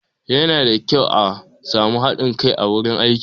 Yana da kyau a sami haɗin kai a wurin aiki